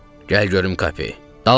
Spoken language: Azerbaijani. Gəl görüm Kape, dalımca düş.